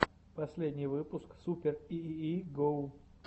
последний выпуск супер и и и гоу